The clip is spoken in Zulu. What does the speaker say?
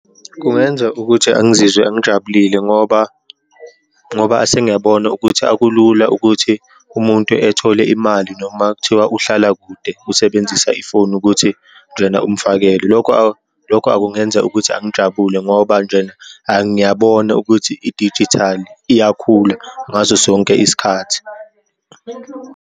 Kungenza ukuthi angizizwe angijabulile ngoba, ngoba asengiyabona ukuthi akulula ukuthi umuntu ethole imali noma kuthiwa uhlala kude usebenzisa ifoni ukuthi njena umfakele. Lokho, lokho akungenza ukuthi angijabule ngoba njena angiyabona ukuthi idijithali iyakhula ngaso sonke isikhathi.